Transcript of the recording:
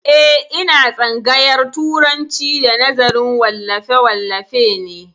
Eh, ina tsangayar turanci da nazarin wallafe wallafe ne